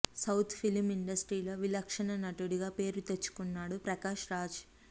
south film ఇండస్ట్రీలో విలక్షణ నటుడిగా పేరు తెచ్చుకున్నాడు ప్రకాష్ రాజ్